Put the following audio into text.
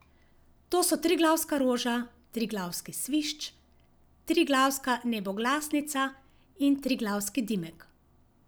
To so triglavska roža, triglavski svišč, triglavska neboglasnica in triglavski dimek.